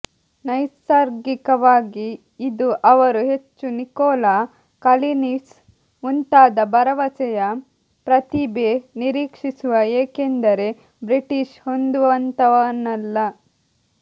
ನೈಸರ್ಗಿಕವಾಗಿ ಇದು ಅವರು ಹೆಚ್ಚು ನಿಕೋಲಾ ಕಲಿನಿಸ್ ಮುಂತಾದ ಭರವಸೆಯ ಪ್ರತಿಭೆ ನಿರೀಕ್ಷಿಸುವ ಏಕೆಂದರೆ ಬ್ರಿಟಿಷ್ ಹೊಂದುವಂತಹವನಲ್ಲ